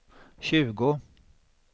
tjugo